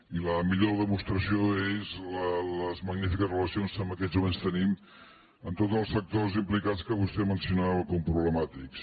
i la millor demostració són les magnífiques relacions que en aquests moments tenim amb tots els sectors implicats que vostè mencionava com a problemàtics